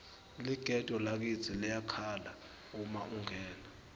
ligede lakitsi liyakhala uma ungena